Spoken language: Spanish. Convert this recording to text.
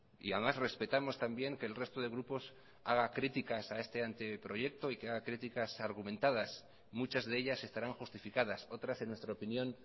y además respetamos también que el resto de grupos haga críticas a este anteproyecto y que haga críticas argumentadas muchas de ellas estarán justificadas otras en nuestra opinión